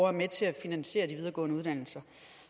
er med til at finansiere de videregående uddannelser